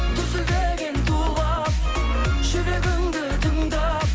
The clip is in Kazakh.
дүрсілдеген тулап жүрегіңді тыңдап